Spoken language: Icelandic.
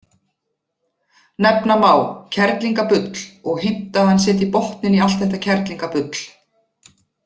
Nefna má: kerlingabull: og heimta að hann setji botninn í allt þetta kerlingabull